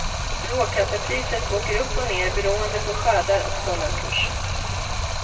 Råkaffepriset åker upp och ner beroende på skördar och dollarkurs.